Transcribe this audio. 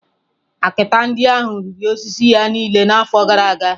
Akịta ndị ahụ riri osisi ya niile n’afọ gara aga.